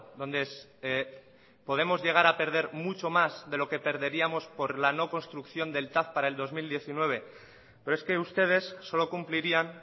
donde podemos llegar a perder mucho más de lo que perderíamos por la no construcción del tav para el dos mil diecinueve pero es que ustedes solo cumplirían